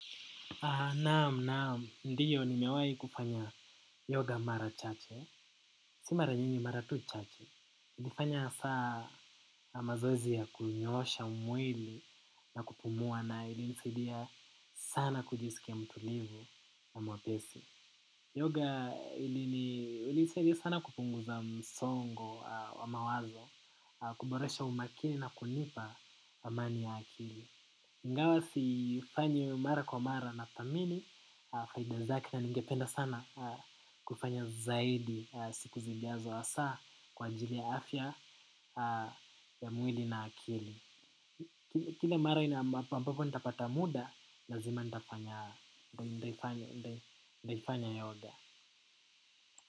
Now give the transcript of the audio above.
Naam, naam. Ndio nimewai kufanya yoga mara chache. Si mara nyingi mara tu chache. Kufanya saa na mazoezi ya kunyoosha mwili na kupumua na ilinisaidia sana kujisikia mtulivu na mwepesi. Yoga ilinisaidia sana kupunguza msongo wa mawazo, kuboresha umakini na kunipa amani ya akili. Ingawa sifanyi mara kwa mara nathamini, faida zake na ningependa sana kufanya zaidi siku zijazo hasa kwa ajili ya afya ya mwili na akili. Kila mara ambapo nitapata muda, lazima nitafanya yoga. Kwa hivyo.